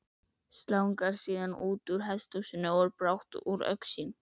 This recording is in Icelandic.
slangrar síðan útúr hesthúsinu og er brátt úr augsýn